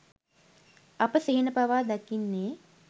අප සිහින පවා දකින්නේ